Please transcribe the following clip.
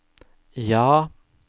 ja